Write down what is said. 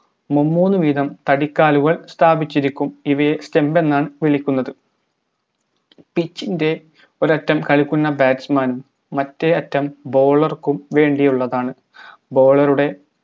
മുമൂന്നു വീതം താടിക്കാലുകൾ സ്ഥാപിച്ചിരിക്കും ഇവയെ stump എന്നാണ് വിളിക്കുന്നത് pitch ൻറെ ഒരറ്റം കളിക്കുന്ന batsman നും മറ്റേ അറ്റം bowler ക്കും വേണ്ടിയുള്ളതാണ് bowler ടെ